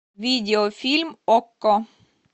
видеофильм окко